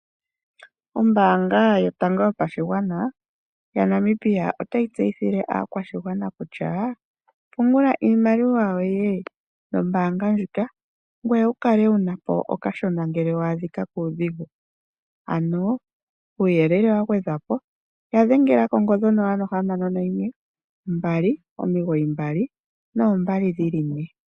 Ombaanga yotango yopashigwana yaNamibia otayi tseyithile aakwashigwana kutya nayi pungule iimaliwa nombaanga ndjika, opo ya kale ye na po okashona ngele ya adhika kuudhigu. Kuuyelele wa gwedhwa po ya dhengela ko 061 2992222.